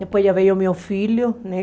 Depois já veio o meu filho, né?